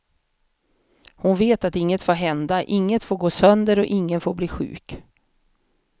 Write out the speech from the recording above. Hon vet att inget får hända, inget får gå sönder och ingen får bli sjuk.